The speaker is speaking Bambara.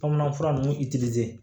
Bamanan fura nunnu